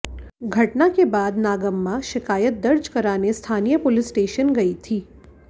घटना के बाद नागम्मा शिकायत दर्ज कराने स्थानीय पुलिस स्टेशन गई थी